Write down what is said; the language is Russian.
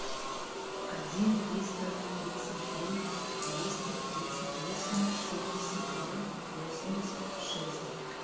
один триста тридцать три двести тридцать восемь семьдесят два восемьдесят шесть